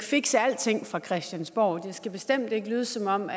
fikse alting fra christiansborgs skal bestemt ikke lyde som om